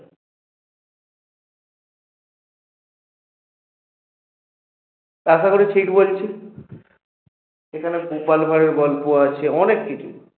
আশা করি ঠিক বলছি এখানে গোপাল ভাড়ের গল্প আছে অনেক কিছু